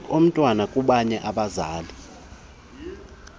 komntwana kubanye abazali